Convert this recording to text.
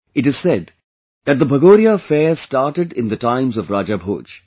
It is said that the Bhagoria fair started in the times of Raja Bhoj